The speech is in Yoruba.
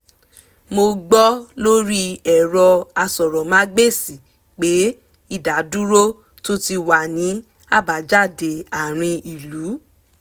mo gbọ́ lórí ẹ̀rọ asọ̀rọ̀mágbèsì pé ìdádúró tún ti wà ní àbájáde àárín ìlú